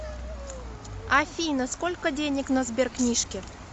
афина сколько денег на сберкнижке